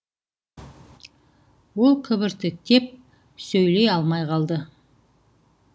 ол кібіртіктеп сөйлей алмай қалды